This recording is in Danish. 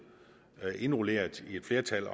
indrulleret i flertallet